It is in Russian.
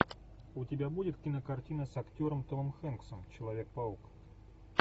у тебя будет кинокартина с актером томом хэнксом человек паук